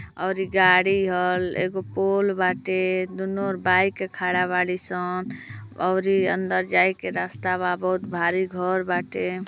और गाडी ह एगो पोल बाटे दुन्नो ओर खड़ा बाडी सन औरी अंदर जाये के रास्ता बा बहुत भारी घर बाटे।